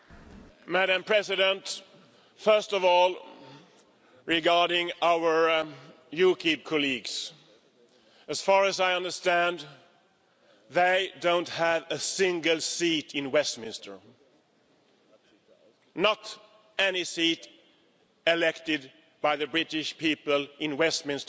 Madam President, first of all, regarding our UKIP colleagues as far as I understand, they don't have a single seat in Westminster, not one of them has been elected by the British people to Westminster